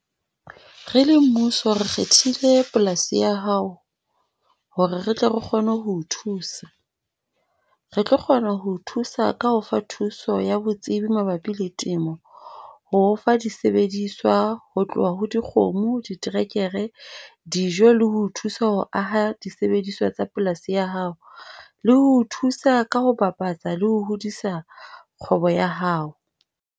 Re le mmuso re kgethile polasi ya hao hore re tle re kgone ho o thusa. Re tlo kgona ho o thusa ka ho o fa thuso ya botsebi mabapi le temo. Ho o fa di sebediswa ho tloha ho dikgomo, diterekere, dijo, le ho o thusa ho aha disebediswa tsa polasi ya hao. Le ho o thusa ka ho bapatsa le ho hodisa kgwebo ya hao.